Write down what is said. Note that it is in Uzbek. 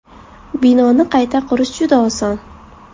Binoni qayta qurish juda oson!